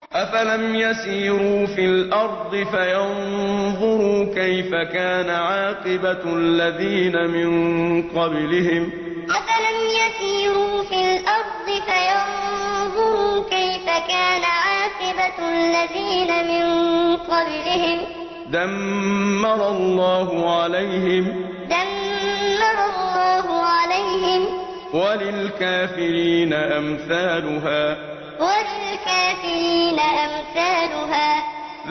۞ أَفَلَمْ يَسِيرُوا فِي الْأَرْضِ فَيَنظُرُوا كَيْفَ كَانَ عَاقِبَةُ الَّذِينَ مِن قَبْلِهِمْ ۚ دَمَّرَ اللَّهُ عَلَيْهِمْ ۖ وَلِلْكَافِرِينَ أَمْثَالُهَا ۞ أَفَلَمْ يَسِيرُوا فِي الْأَرْضِ فَيَنظُرُوا كَيْفَ كَانَ عَاقِبَةُ الَّذِينَ مِن قَبْلِهِمْ ۚ دَمَّرَ اللَّهُ عَلَيْهِمْ ۖ وَلِلْكَافِرِينَ أَمْثَالُهَا